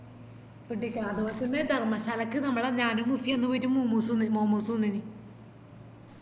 ധർമശാലക്ക് നമ്മള ഞാനും മുസിം അന്ന് പോയിറ്റ് മൂ മൂസ് തിന്നിന് momos തിന്നിന്